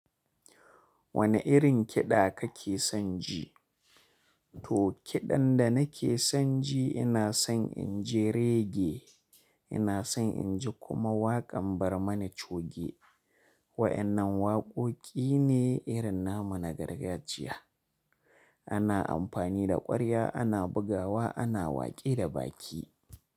Wane irin kiɗa kake son ji? To kiɗan da nake son ji ina son in ji regge. Ina son in ji kuma waƙan Barmani Choge. Waɗannan waƙoƙi ne irin namu na gargajiya. Ana amfani da ƙwarya, ana bugawa, ana waƙe da baki.